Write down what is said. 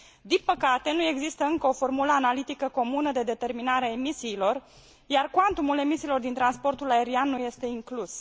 Din păcate, nu există încă o formulă analitică comună de determinare a emisiilor, iar cuantumul emisiilor din transportul aerian nu este inclus.